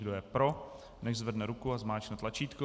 Kdo je pro, nechť zvedne ruku a zmáčkne tlačítko.